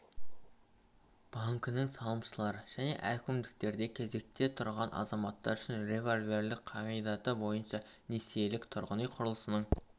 банкінің салымшылары және әкімдіктерде кезекте тұрған азаматтар үшін револьверлік қағидаты бойынша несиелік тұрғын үй құрылысының